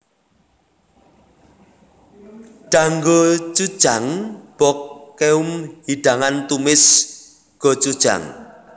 Danggochujang bokkeum hidangan tumis gochujang